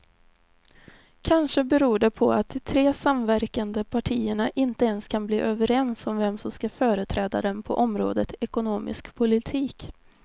Kanske beror det på att de tre samverkande partierna inte ens kan bli överens om vem som ska företräda dem på området ekonomisk politik.